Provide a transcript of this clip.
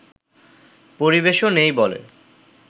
পরিবেশও নেই বলে